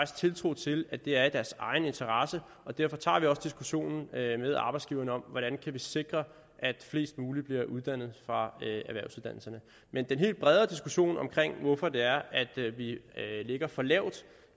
tiltro til at det er i deres egen interesse og derfor tager vi også diskussionen med arbejdsgiverne om hvordan vi kan sikre at flest mulige bliver uddannet fra erhvervsuddannelserne men den helt brede diskussion om hvorfor det er at vi ligger for lavt